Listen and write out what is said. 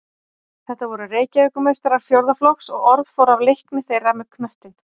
Þetta voru Reykjavíkurmeistarar fjórða flokks og orð fór af leikni þeirra með knöttinn.